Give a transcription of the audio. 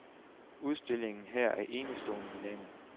Udstillingen her er enestående i landet.